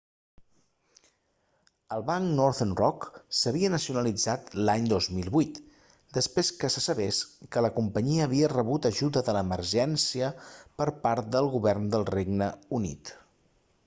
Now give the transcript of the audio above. el banc northern rock s'havia nacionalitzat l'any 2008 després que se sabés que la companyia havia rebut ajuda d'emergència per part del govern del regne unit